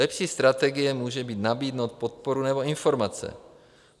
Lepší strategie může být nabídnout podporu nebo informace.